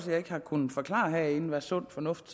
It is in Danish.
jeg ikke har kunnet forklare herinde hvad sund fornuft